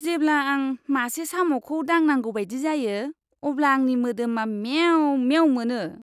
जेब्ला आं मासे साम'खौ दांनांगौ बायदि जायो, अब्ला आंनि मोदोमा मेव मेव मोनो!